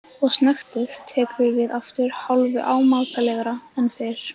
Og snöktið tekur við aftur hálfu ámátlegra en fyrr.